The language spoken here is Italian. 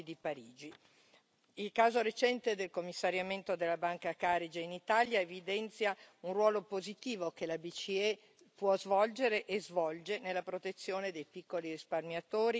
Il caso recente del commissariamento della Banca Carige in Italia evidenzia un ruolo positivo che la BCE può svolgere e svolge nella protezione dei piccoli risparmiatori e investitori.